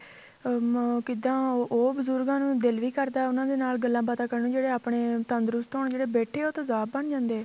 ਹਮ ਕਿੱਦਾਂ ਉਹ ਉਹ ਬਜ਼ੁਰਗਾਂ ਨੂੰ ਦਿਲ ਵੀ ਕਰਦਾ ਉਹਨਾ ਦੇ ਨਾਲ ਗੱਲਾ ਬਾਤਾ ਕਰਨ ਜਿਹੜੇ ਆਪਣੇ ਤੰਦਰੁਸਤ ਹੋਣ ਜਿਹੜੇ ਬੈਠੇ ਏ ਉਹ ਤੇਜ਼ਾਬ ਬਣ ਜਾਂਦੇ ਏ